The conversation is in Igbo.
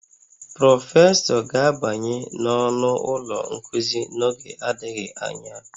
Prọfesọ ga-abanye n'ọnụ ụlọ nkuzi n'oge adịghị anya